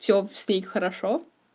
всё с ней хорошо